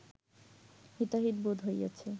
হিতাহিত বোধ হইয়াছে